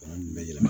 Bana nunnu bɛɛ la